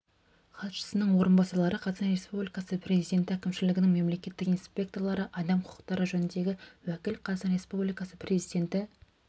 хатшысының орынбасарлары қазақстан республикасы президенті әкімшілігінің мемлекеттік инспекторлары адам құқықтары жөніндегі уәкіл қазақстан республикасы президенті